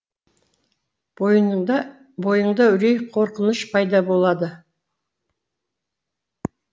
бойыңда үрей қорқыныш пайда болады